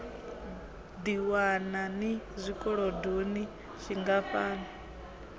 ḓiwana ni zwikolodoni zwingafha no